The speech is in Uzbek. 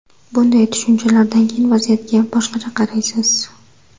Bunday tushunchalardan keyin vaziyatga boshqacha qaraysiz!